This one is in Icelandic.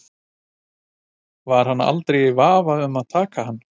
Var hann aldrei í vafa um að taka hana?